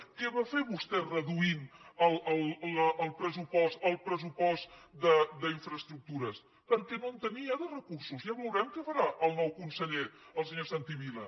què va fer vostè reduint el pressupost d’infraestructures perquè no en tenia de recursos ja veurem què farà el nou conseller el senyor santi vila